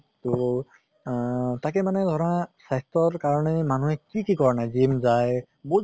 তহ আহ তাকে মানে ধৰা স্বাস্থ্য়ৰ কাৰণে মানুহে কি কি কৰা নাই? gym যায় বহুত